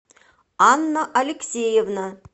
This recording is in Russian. анна алексеевна